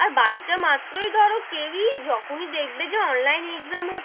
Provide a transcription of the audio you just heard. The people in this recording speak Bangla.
আর বাচ্চা মাত্রই ধরো কেউ ই যখনই দেখবে যে online exam হচ্ছে,